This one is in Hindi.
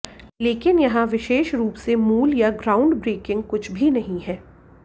लेकिन यहां विशेष रूप से मूल या ग्राउंडब्रैकिंग कुछ भी नहीं है